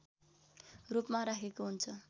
रूपमा राखिएको हुन्छ